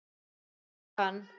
Þekki hann.